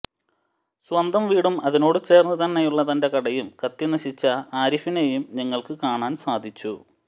സ്വന്തം വീടും അതിനോട് ചേർന്ന് തന്നെയുള്ള തൻ്റെ കടയും കത്തി നശിച്ച ആരിഫിനെയും ഞങ്ങൾക്ക് കാണാൻ സാധിച്ചു